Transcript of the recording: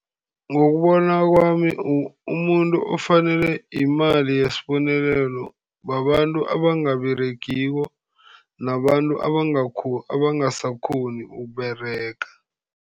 Ngokubona kwami, umuntu ofanelwe yimali yesibonelelo babantu abangaberegiko nabantu abangasakghoni ukuberega.